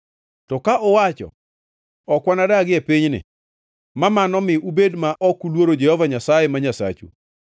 “To ka uwacho, ‘Ok wanadagie pinyni,’ mamano mi ubed ma ok uluoro Jehova Nyasaye ma Nyasachu,